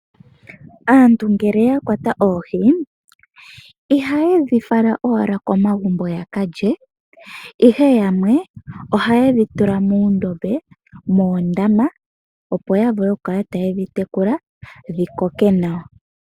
Aantu ngele ya kwata oohi, ihaye dhi fala owala komagumbo ya ka lye, ihe yamwe ohaye dhi tula muundombe, moondama, opo ya vule okukala taye dhi tekula dhi koke nawa.